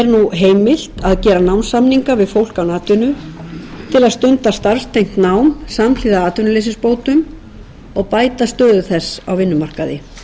að gera námssamninga við fólk án atvinnu til að stunda samtengt nám samhliða atvinnuleysisbótum og bæta stöðu þess á vinnumarkaði til að bæta möguleika fólks til